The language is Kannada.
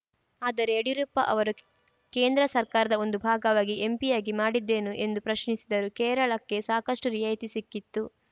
ಆದರೆ ಯಡಿಯೂರಪ್ಪ ಅವರು ಕೇಂದ್ರ ಸರ್ಕಾರದ ಒಂದು ಭಾಗವಾಗಿ ಎಂಪಿಯಾಗಿ ಮಾಡಿದ್ದೇನು ಎಂದು ಪ್ರಶ್ನಿಸಿದರು ಕೇರಳಕ್ಕೆ ಸಾಕಷ್ಟುರಿಯಾಯಿತಿ ಸಿಕ್ಕಿತ್ತು